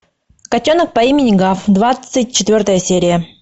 котенок по имени гав двадцать четвертая серия